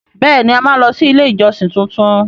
Bẹẹni! A máa lọ sí ilé ìjọsìn tuntun.